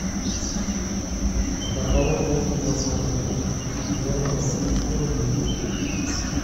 по какому курсу можно обменять восемьсот евро в российские рубли